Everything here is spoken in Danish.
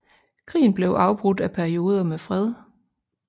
Krigen blev afbrudt af perioder med fred